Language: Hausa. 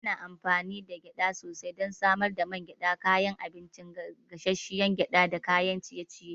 Ana amfani da gyada sosai don samar da man gyada, kayan abinci, gasasshiyar gyada da kayan ciye-ciye.